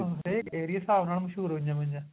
ਏਰੀਏ ਦੇ ਹਿਸਾਬ ਨਾਲ ਮਸ਼ਹੂਰ ਹੋਈਆ ਹੋਈਆ ਨੇ